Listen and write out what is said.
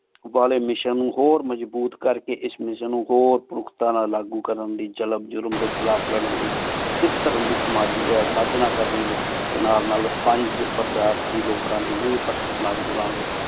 ਵਾਲੀ mission ਨੂ ਹੋਰ ਮਜਬੂਤ ਕਰ ਕੀ ਏਸ ਮਿਸ੍ਸਿਓਂ ਨੂ ਹੋਰ ਪੁਖ੍ਤਾਂ ਨਾਲ ਲਾਗੂ ਕਰਨ ਦੀ ਜਾਲਮ ਜ਼ੁਲਮ ਡੀ ਖਿਲਾਫ਼ ਲਰਨ ਦੀ ਸਿਖ ਧਰਮ ਦੀ ਸਝਨਾ ਕਰਨ ਨਾਲ ਨਾਲ ਪੰਚ ਪਰ੍ਧਾਰਤੀ ਲੋਕਾਂ ਲੈ ਨੀਹ